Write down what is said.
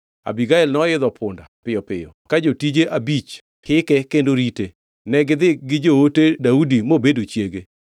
Abigael noidho punda piyo piyo ka jotije abich hike kendo rite, negidhi gi joote Daudi mobedo chiege.